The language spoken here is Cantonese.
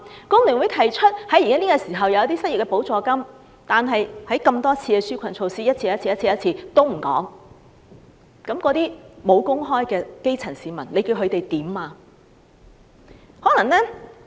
工聯會建議提供失業補助金，但多次公布紓困措施也不見這個安排，沒有工作的基層市民可以怎樣？